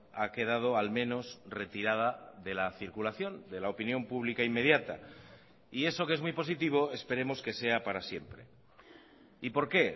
ha quedado al menos retirada de la circulación de la opinión pública inmediata y eso que es muy positivo esperemos que sea para siempre y por qué